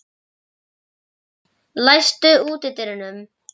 Jóhann, læstu útidyrunum.